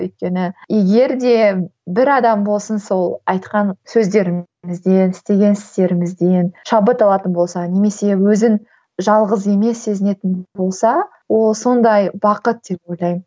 өйткені егер де бір адам болсын сол айтқан сөздерімізден істеген істерімізден шабыт алатын болса немесе өзін жалғыз емес сезінетін болса ол сондай бақыт деп ойлаймын